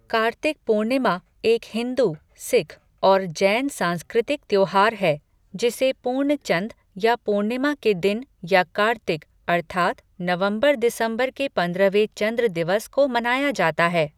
कार्तिक पूर्णिमा एक हिंदू, सिख और जैन सांस्कृतिक त्योहार है, जिसे पूर्णचन्द या पूर्णिमा के दिन या कार्तिक अर्तात् नवंबर दिसंबर के पंद्रहवें चंद्र दिवस को मनाया जाता है।